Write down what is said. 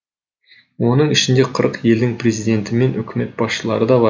оның ішінде қырық елдің президенті мен үкімет басшылары да бар